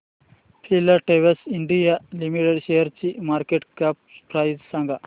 Filatex India limited शेअरची market cap price सांगा